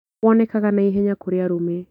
Wonekaga naihenya kurĩ arũme